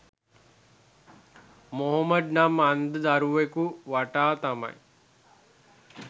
මොහොමඩ් නම් අන්ධ දරුවෙකු වටා තමයි